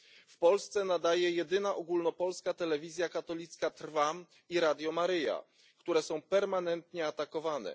W Polsce nadaje jedyna ogólnopolska telewizja katolicka Trwam i Radio Maryja, które są permanentnie atakowane.